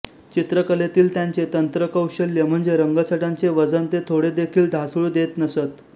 चित्रकलेतील त्यांचे तंत्रकौशल्य म्हणजे रंगछटांचे वजन ते थोडेदेखील ढासळू देत नसत